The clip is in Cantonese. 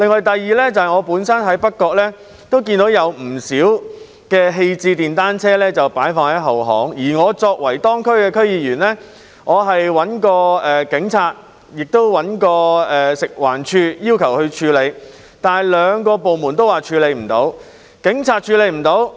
第二個例子是，我在北角也看到不少廢棄電單車棄置在後巷，而我作為當區的區議員，曾要求警方及食物環境衞生署處理，但兩個部門均表示無法處理。